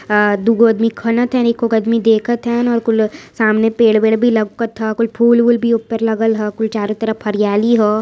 अ दूगो अदमी खनत हैन एको आदमी देखत हैन और कुल सामने पेड़ वेड भी लउकत ह। कुल फूल वूल भी ऊपर लगल ह। कुल चारो तरफ हरियाली हौ।